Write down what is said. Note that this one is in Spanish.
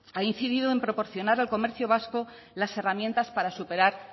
ha incidido en proporcionar al comercio vasco las herramientas para superar